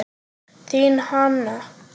Þín, Hanna.